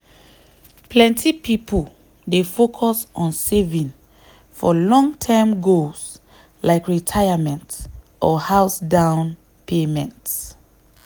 plenty people dey focus on saving for long-term goals like retirement or house down payment.